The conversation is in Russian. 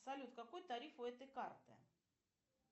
салют какой тариф у этой карты